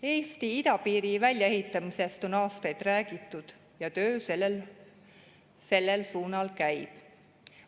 Eesti idapiiri väljaehitamisest on aastaid räägitud ja töö sellel suunal käib.